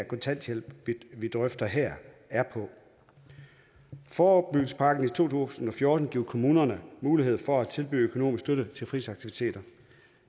kontanthjælp vi drøfter her er på forebyggelsespakken tusind og fjorten giver kommunerne mulighed for at tilbyde økonomisk støtte til fritidsaktiviteter